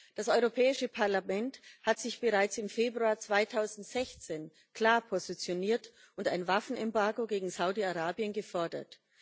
Das Europäische Parlament hat sich bereits im Februar 2016 klar positioniert und ein Waffenembargo gegen Saudi Arabien gefordert.